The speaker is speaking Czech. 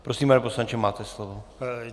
Prosím, pane poslanče, máte slovo.